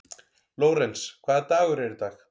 Lórens, hvaða dagur er í dag?